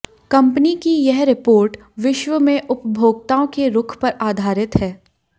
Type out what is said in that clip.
company की यह report विश्व में उपभोक्ताओं के रुख पर आधारित है